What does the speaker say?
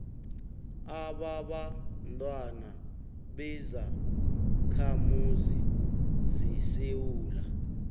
ababantwana bezakhamuzi zesewula